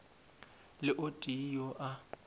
le o tee yo a